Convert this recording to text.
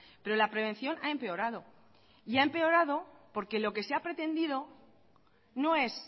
pero la prevención ha empeorado y ha empeorado porque lo que se ha pretendido no es